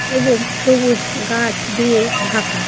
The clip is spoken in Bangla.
এবং সবুজ গাছ দিয়ে ঢাকা।